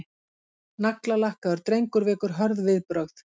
Naglalakkaður drengur vekur hörð viðbrögð